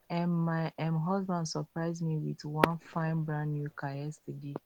um my um husband surprise me with wan fine brand new car yesterday